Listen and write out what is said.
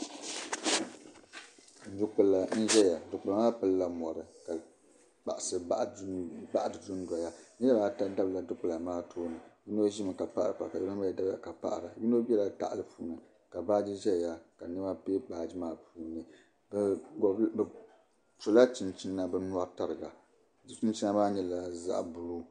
Dukpula n-zaya dukpula maa pilila mɔri ka kpahisi baɣi di dundoya. Niriba ata baɣila dukpula maa tooni. Yino ʒimi ka paɣiri paɣibu ka yino mi dabiya ka paɣira. Yino bela tahali puuni ka baaji zaya ka nɛma be baaji maa puuni. Bɛ sɔla chinchina bɛ nyɔri tariga chinchina maa nyɛla zaɣ' buluu.